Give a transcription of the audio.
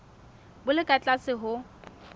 bo le ka tlase ho